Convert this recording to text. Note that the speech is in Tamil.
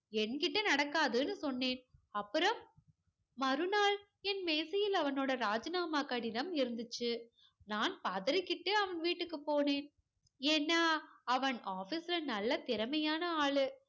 என்கிட்ட நடக்காதுன்னு சொன்னேன். அப்புறம் மறுநாள் என் மேஜையில அவனோட ராஜினாமா கடிதம் இருந்துச்சு. நான் பதறிக்கிட்டு அவன் வீட்டுக்கு போனேன். ஏன்னா, அவன் ஆபீஸ்ல நல்ல திறமையான ஆளு.